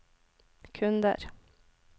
kunder